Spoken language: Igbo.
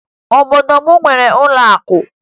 Obodo m enweghi ụlọakụ